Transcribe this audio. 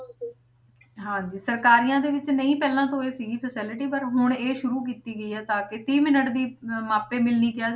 ਹਾਂਜੀ ਸਰਕਾਰੀਆਂ ਦੇ ਵਿੱਚ ਨਹੀਂ ਪਹਿਲਾਂ ਤੋਂ ਇਹ ਸੀਗੀ facility ਪਰ ਹੁਣ ਇਹ ਸ਼ੁਰੂ ਕੀਤੀ ਗਈ ਹੈ ਤਾਂ ਕਿ ਤੀਹ minute ਦੀ ਅਹ ਮਾਪੇ ਮਿਲਣੀ ਕਿਹਾ,